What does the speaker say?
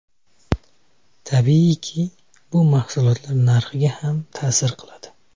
Tabiiyki, bu mahsulotlar narxiga ham ta’sir qiladi.